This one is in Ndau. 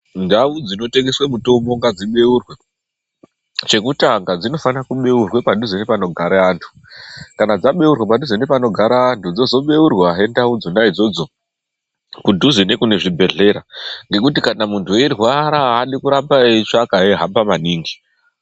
Ndau dzinotengeswe mitombo ngadzibeurwe. Chekutanga, dzinofanira kubeurwe padhuze nepanogara antu. Kana dzabeurwa padhuze nepanogara vantu dzozobeurwazve ndau idzona idzodzo kudhuze nekune zvibhedhlera, ngekuti kana muntu eirwara haadi kuramba eitsvaka eihamba maningi.